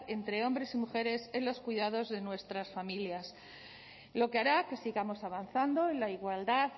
entre hombres y mujeres en los cuidados de nuestras familias lo que hará que sigamos avanzando en la igualdad